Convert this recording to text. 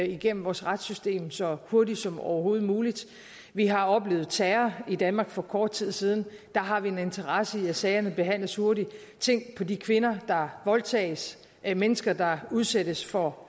igennem vores retssystem så hurtigt som overhovedet muligt vi har oplevet terror i danmark for kort tid siden der har vi en interesse i at sagerne behandles hurtigt tænk på de kvinder der voldtages de mennesker der udsættes for